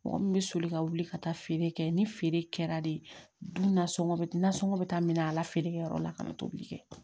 Mɔgɔ min bɛ soli ka wuli ka taa feere kɛ ni feere kɛra de nasɔngɔ bɛ nasɔngɔ bɛ taa minɛ a la feere kɛ yɔrɔ la ka na tobili kɛ